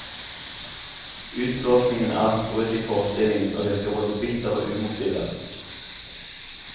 Utblåsningen er et brudd i forestillingen, og virker både bitter og umotivert.